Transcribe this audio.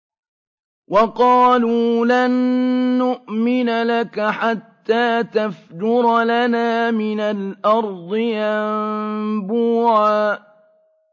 وَقَالُوا لَن نُّؤْمِنَ لَكَ حَتَّىٰ تَفْجُرَ لَنَا مِنَ الْأَرْضِ يَنبُوعًا